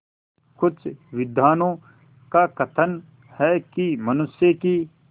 कुछ विद्वानों का कथन है कि मनुष्य की